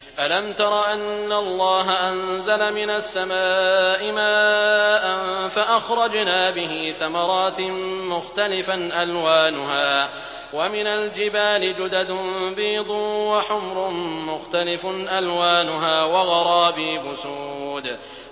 أَلَمْ تَرَ أَنَّ اللَّهَ أَنزَلَ مِنَ السَّمَاءِ مَاءً فَأَخْرَجْنَا بِهِ ثَمَرَاتٍ مُّخْتَلِفًا أَلْوَانُهَا ۚ وَمِنَ الْجِبَالِ جُدَدٌ بِيضٌ وَحُمْرٌ مُّخْتَلِفٌ أَلْوَانُهَا وَغَرَابِيبُ سُودٌ